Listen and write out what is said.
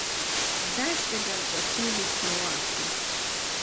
Kdaj ste ga začeli snovati?